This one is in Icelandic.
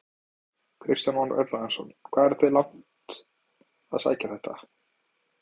Kristján Már Unnarsson: Hvað eruð þið langt að sækja þetta?